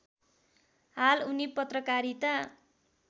हाल उनी पत्रकारिता